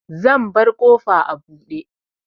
Zan bar ƙofa a buɗe.